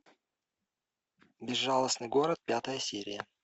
безжалостный город пятая серия